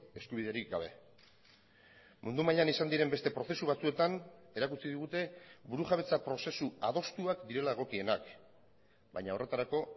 eskubiderik gabe mundu mailan izan diren beste prozesu batzuetan erakutsi digute burujabetza prozesu adostuak direla egokienak baina horretarako